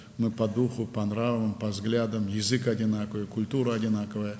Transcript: Biz ruhən, mənəviyyatca, baxışlara görə eyniyik, dilimiz eynidir, mədəniyyətimiz eynidir.